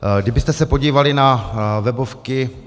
Kdybyste se podívali na webovky